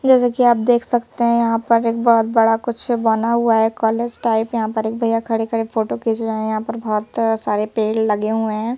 जैसे कि आप देख सकते हैं यहां पर एक बहुत बड़ा कुछ बना हुआ है कॉलेज टाइप यहां पर एक भैया खड़े-खड़े फोटो खींच रहे हैं यहां पर बहुत सारे पेड़ लगे हुए हैं।